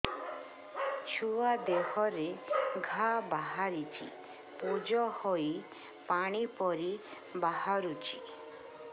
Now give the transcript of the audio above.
ଛୁଆ ଦେହରେ ଘା ବାହାରିଛି ପୁଜ ହେଇ ପାଣି ପରି ବାହାରୁଚି